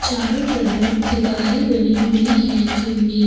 चारों तरफ दीवारे बनी हुई है जिनमें --